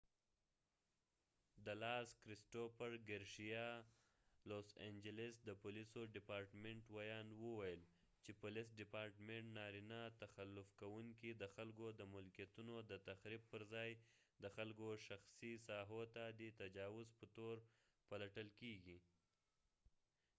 کرسټوفر ګارسیا cristopher garcia د لاس انجلس د پولیسو ډیپارټمنټ los angeles police department وياند وويل چې نارینه تخلف کوونکې د خلکو د ملکېتونو د تخریب پر ځای د خلکو شخصی ساحو ته د تجاوز په تور پلټل کېږی